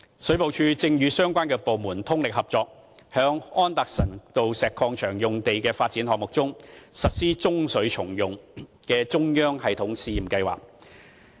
水務署正與相關部門通力合作，在安達臣道石礦場用地發展項目中，實施中水重用的中央系統試驗計劃。